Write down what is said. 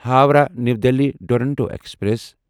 Howrah new Delhi Duronto express